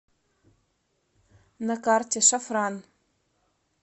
на карте шафран